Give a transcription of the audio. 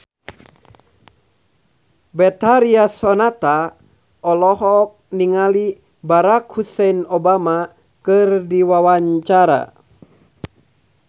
Betharia Sonata olohok ningali Barack Hussein Obama keur diwawancara